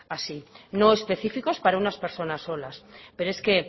así no específicos para unas personas solas pero es que